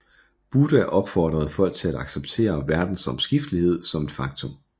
Buddha opfordrede folk til at acceptere verdens omskiftelighed som et faktum